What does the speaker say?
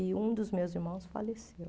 E um dos meus irmãos faleceu.